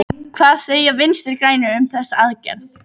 Hvað segja Vinstri-grænir um þessa aðgerð?